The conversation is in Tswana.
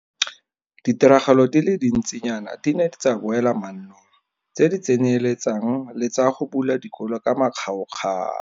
Ditiragalo di le dintsinyana di ne tsa boela mannong, tse di tsenyeletsang le tsa go bula dikolo ka makgaokgao.